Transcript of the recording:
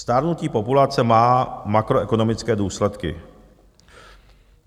Stárnutí populace má makroekonomické důsledky.